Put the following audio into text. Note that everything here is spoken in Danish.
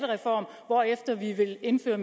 være